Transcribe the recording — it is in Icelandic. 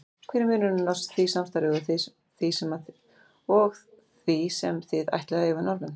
Hver er munurinn á því samstarfi og því sem þið ætlið að eiga við Norðmenn?